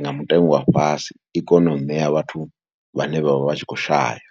nga mutengo wa fhasi. I kone u ṋea vhathu vhane vha vha vha tshi khou shaya.